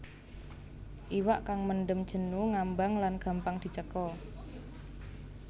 Iwak kang mendem jenu ngambang lan gampang dicekel